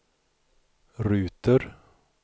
ruter